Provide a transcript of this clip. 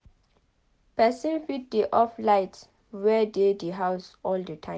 Person fit dey off light wey dey di house all di time